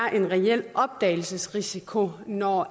er en reel opdagelsesrisiko når